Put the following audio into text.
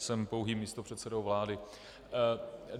Jsem pouhým místopředsedou vlády.